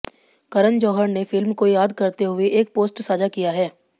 करण जौहर ने फिल्म को याद करते हुए एक पोस्ट साझा किया है